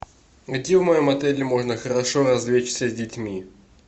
где в моем отеле можно хорошо развлечься с детьми